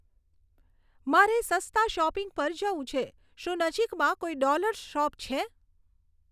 મારે સસ્તા શોપિંગ પર જવું છે શું નજીકમાં કોઈ ડોલર્સ શોપ છે